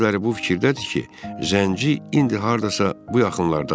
Bəziləri bu fikirdədir ki, zənci indi hardasa bu yaxınlardadır.